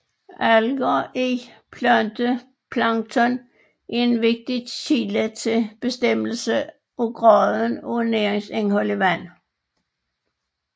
Alger i planteplankton er en vigtig kilde til bestemmelse af graden af næringsindhold i vand